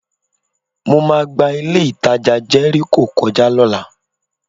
Mo máa gba ilé-ìtajà Jẹ́ríkò kọjá lọ́la